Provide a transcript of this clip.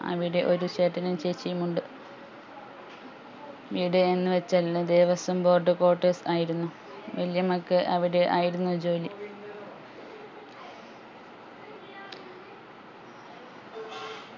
അവിടെ ഒരു ചേട്ടനും ചേച്ചിയും ഉണ്ട് ഇവിടെ എന്ന് വെച്ചാൽ എല്ലും ദേവസ്വം board quarters ആയിരുന്നു വെല്ല്യമ്മക്ക് അവിടെ ആയിരുന്നു ജോലി